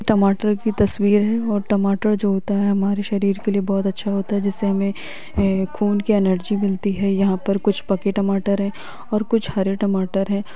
टमाटर की तस्वीर है और टमाटर जो होता है हमारे शरीर के लिए बहुत अच्छा होता है जिससे हमे खून की एनर्जी मिलती है यहां पर कुछ पके टमाटर है और कुछ हरे टमाटर है।